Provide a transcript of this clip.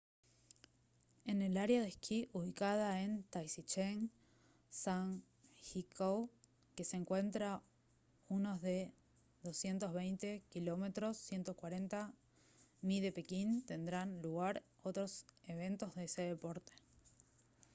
en el área de esquí ubicada en taizicheng zhangjiakou que se encuentra unos de 220 km 140 mi de pekín tendrán lugar otros eventos de ese deporte